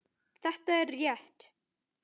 Þetta er rétt.